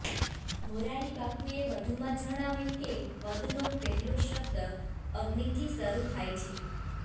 મોરારીબાપુએ વધુમાં જણાવ્યું કે વદનો પહેલો શબ્દ અગ્નિથી શરૂ થાય છે